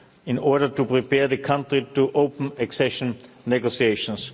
in order to prepare the country to open accession negotiations.